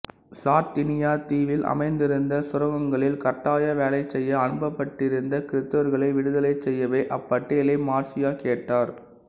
Sardinia தீவில் அமைந்திருந்த சுரங்கங்களில் கட்டாய வேலை செய்ய அனுப்பப்பட்டிருந்த கிறித்தவர்களை விடுதலை செய்யவே அப்பட்டியலை மார்சியா கேட்டார்